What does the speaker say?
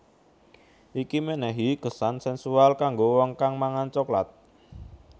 Iki menehi kesan sensual kanggo wong kang mangan coklat